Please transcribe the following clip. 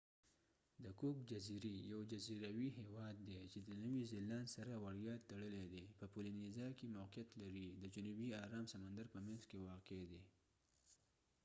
د کوک جزیری یو جزیروي هیواد دي چې د نوي زیلاند سره وړیا تړلی دي په پولینیزا کې موقعیت لري د جنوبی ارام سمندر په منځ کې واقع دي